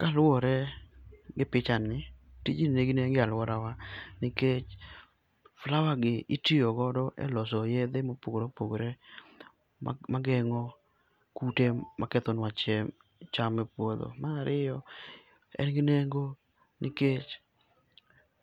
Kaluor egi pichani, tijni nigi nengo e aluorawa nikech flower gi itiyo go e loso yedhe ma opogore opogore ma gengo kute ma kethonwa cham e puodho. Mar ariyo en gi nengo nikech